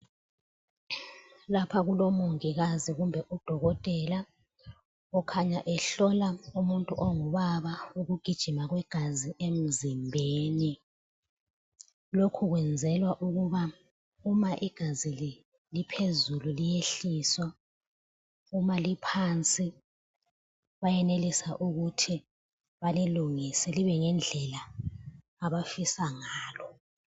Lapha kulomongikazi kumbe udokotela okhanya ehlola umuntu ongubaba ukugijima kwegazi emzimbeni. Lokhu kwenzelwa ukuba uma igazi liphezulu liyehliswa uma liphansi bayenelisa ukuthi balilungise libe ngendlela abafisa ngalo.